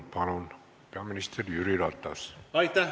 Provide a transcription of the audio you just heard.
Palun, peaminister Jüri Ratas!